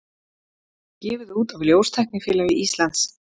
Gefið út af ljóstæknifélagi Íslands.